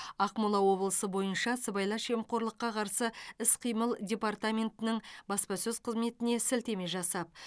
ақмола облысы бойынша сыбайлас жемқорлыққа қарсы іс қимыл департаментінің баспасөз қызметіне сілтеме жасап